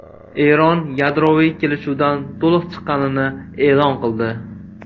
Eron yadroviy kelishuvdan to‘liq chiqqanini e’lon qildi.